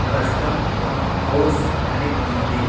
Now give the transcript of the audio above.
Custom ఆ house అని ఉంది.